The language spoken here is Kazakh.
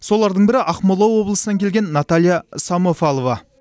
солардың бірі ақмола облысынан келген наталья самофалова